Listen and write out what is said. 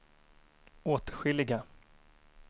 åtskilliga